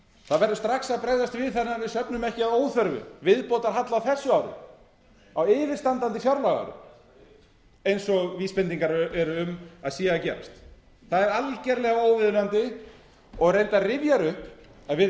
það verður strax að bregðast við þannig að við söfnum ekki að óþörfu viðbótarhalla á þessu ári á yfirstandandi fjárlagaári eins og vísbendingar eru um að sé að gerast það er algjörlega óviðunandi og reyndar rifjar upp að við